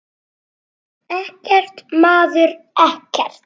Ekkert, maður, ekkert.